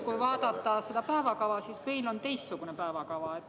Kui vaadata päevakava, siis meil on teistsugune päevakava.